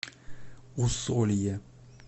усолье